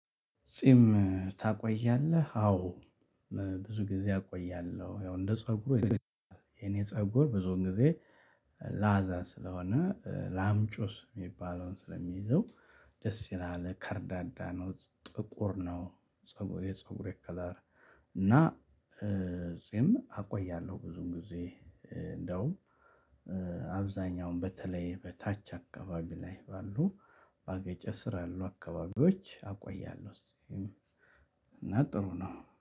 ጺም ታቆያለህ አዎ። ብዙ ጊዜ አቆያለሁ ያው እንደ ፀጉር የኔ ፀጉር ብዙውን ጊዜ ላዛ ስለሆነ ላምጩስ የሚባለውን ስለሚይዘው ደስ ይላል ከርዳዳ ነው። ጥቁር ነው ፀጉሬ የፀጉሬ ከለር። እና ጺም አቆያለሁ ብዙም ጊዜ እንደውም አብዛኛውንም በተለይ በታች አካባቢ ላይ ያሉ ባገጬ ስር ያሉ አካባቢዎች አቆያለሁኝ ጺሜን። እና ጥሩ ነው።